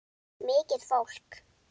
Mikið fólk.